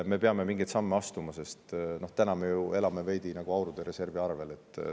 Me peame mingeid samme astuma, sest praegu me ju elame veidi reservi arvel.